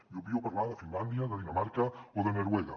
i obvio parlar de finlàndia de dinamarca o de noruega